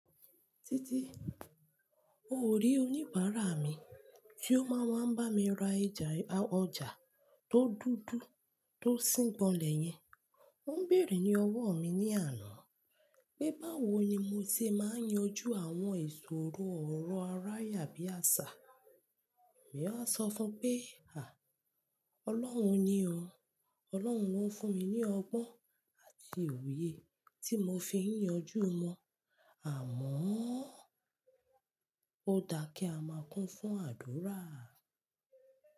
Títí, o ò rí oníbàárà mi tí ó máa ń wa n bá mi ra ìjà i, a ọjà, tó dúdú tó síngbọnlẹ̀ yẹn. Ó ń bèèrè ní ọwọ́ mi ní àná pé báwo ni mo ti máa ń yanjú àwọn ìṣòro ọ̀rọ̀ arayà bí àṣà. Mi a sọ fún-un pé, "à, Ọlọ́run ni o. Ọlọ́run ló ń fún mi ní ọgbọ́n àti òye tí mo fi ń yanjú wọn. Àmọ́ ó daá kí a máa kún fún àdúrà."